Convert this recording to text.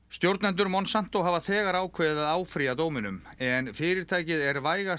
stjórnendur Monsanto hafa þegar ákveðið að áfrýja dóminum en fyrirtækið er vægast